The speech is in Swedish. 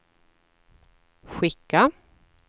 skicka